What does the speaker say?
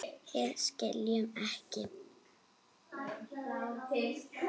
Við skiljum ekki.